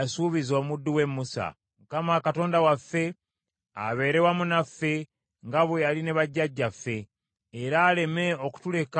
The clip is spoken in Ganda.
Mukama Katonda waffe abeere wamu naffe nga bwe yali ne bajjajjaffe, era aleme okutuleka wadde okutwabulira.